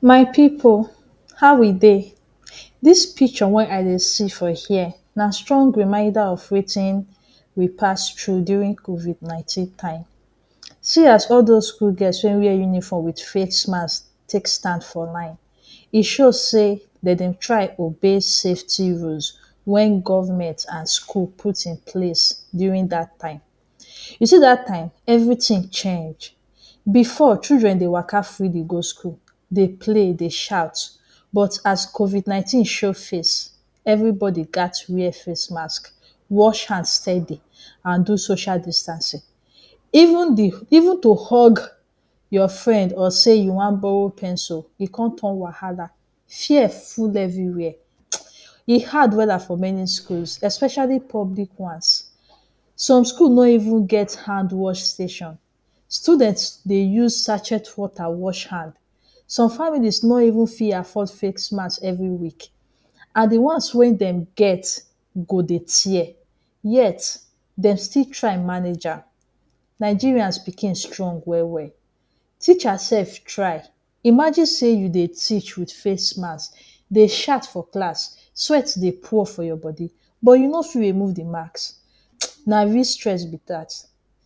My pipu, how we dey? Dis picture wen I dey see for here na strong reminder of wetin we pass through during covid nineteen time. See as all dos school girls wey wear uniform with face mask take stand for line. E show sey de dem try obey safety rules wen government an school put in place during dat time. You see dat time, everything change. Before, children dey waka freely go school, dey play, dey shout, but as covid nineteen show face, everybody gat wear face mask, wash hand steady, an do social distancing. Even the even to hug your friend or say you wan borrow pencil e con turn wahala. Fear full everywhere. E hard wella for many schools, especially public ones. Some school no even get hand-wash station; student dey use sachet water wash hand. Some families no even fit afford face mask every week, an the ones wey dem get go dey tear, yet dem still try manage am. Nigerians pikins strong well-well. Teacher sef try. Imagine sey you dey teach with face mask, dey shout for class, sweat dey pour for your body, but you no fit remove the mask. Na real stress be dat.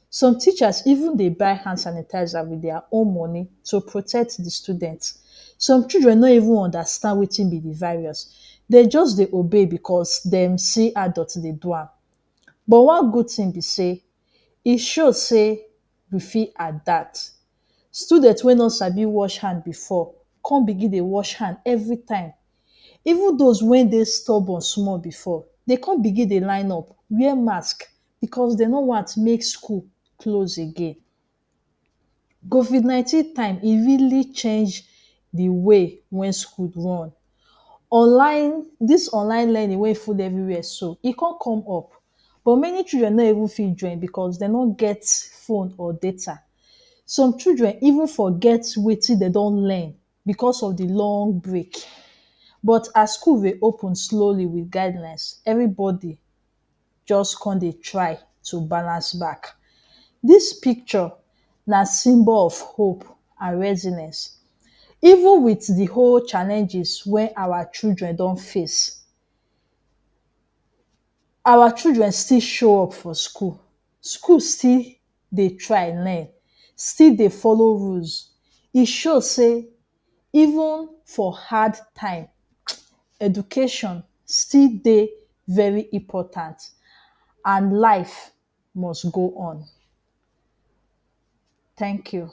Some teachers even dey buy hand sanitizer with dia own money to protect the student. Some children no even understand wetin be the virus, de juz dey obey becos dem see adult dey do am. But one good tin be sey, e show sey we fit adapt. Student wey no sabi wash hand before con begin dey wash hand every time. Even dos wey dey stubborn small before, de con begin dey line up, wear mask, becos de no want make school close again. Covid nineteen time, e really change the way wen school run. Online, dis online learning wey full everywhere so, e con come up but many children no even fit join becos de no get phone or data. Some children even forget wetin de don learn becos of the long break, but as school reopen slowly with guidelines, everybody juz con dey try to balance back. Dis picture na symbol of hope an resilience. Even with the whole challenges wey our children don face, our children still show up for school. School still dey try learn, still dey follow rules. E show sey even for hard time, education still dey very important, an life must go on. Thank you.